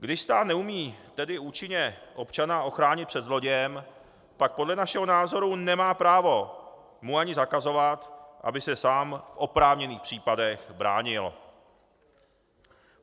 Když stát neumí tedy účinně občana ochránit před zlodějem, pak podle našeho názoru nemá právo mu ani zakazovat, aby se sám v oprávněných případech bránil.